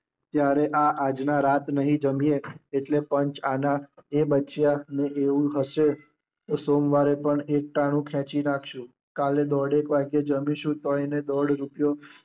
ત્યારે આ આજના રાત નહીં જમીએ એટલે પંચ આના એ બચ્યા અને એવું હશે તો સોમવારે પણ એકટાણું ખેચી નાખીશું. કાલે દોઢેક વાગે જમીશું તોય દોઢ રૂપિયો